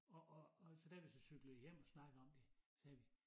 Og og så da vi så cyklede hjem og snakkede om det sagde vi